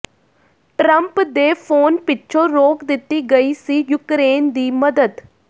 Trump ਦੇ phone ਪਿੱਛੋਂ ਰੋਕ ਦਿੱਤੀ ਗਈ ਸੀ ਯੂਕਰੇਨ ਦੀ ਮਦਦ